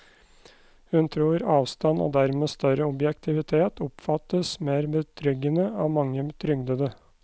Hun tror avstand og dermed større objektivitet oppfattes mer betryggende av mange trygdede.